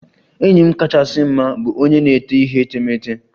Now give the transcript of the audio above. Enyi m kachasị mma bụ onye na-ete ihe etemeete.